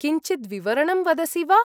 किञ्चिद् विवरणं वदसि वा?